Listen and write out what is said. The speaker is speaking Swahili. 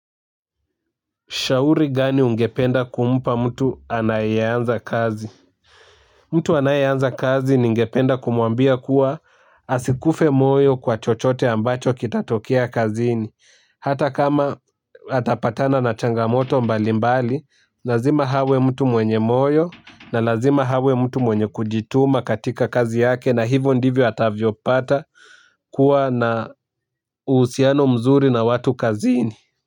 Shauri gani ungependa kumpa mtu anaye anza kazi? Mtu anaye anza kazi ningependa kumwambia kuwa asikufe moyo kwa chochote ambacho kinatokea kazini. Ata kama atapatana na changamotombalimbali lazima awe mtu mwenye moyo na lazima awe mtu mwenye kujituma katika kazi yake na hivyo ndivyo atakavyojipata kuwa na uhusiano mzuri na watu kazini.